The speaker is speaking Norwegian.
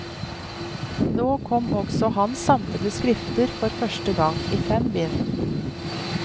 Nå kom også hans samlede skrifter for første gang, i fem bind.